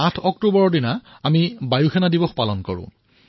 ৮ October তাৰিখে আমি বায়ুসেনা দিৱস পালন কৰোঁ